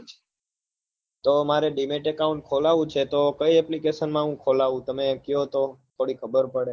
તો મારે dimet account ખોલાવું છે તો કઈ application માં હું ખોલાવું તમે કયો તો થોડી ખબર પડે